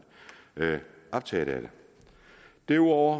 optaget af derudover